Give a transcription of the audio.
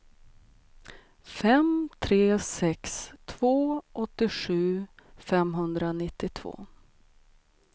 fem tre sex två åttiosju femhundranittiotvå